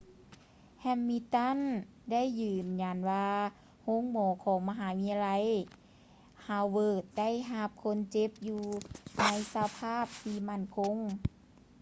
ແຮມມິນຕັນ hamilton ໄດ້ຢືນຢັນວ່າ ໂຮງໝໍຂອງມະຫາວິທະຍາໄລຮາວເວີດ ໄດ້ຮັບຄົນເຈັບຢູ່ໃນສະພາບທີ່ໝັ້ນຄົງ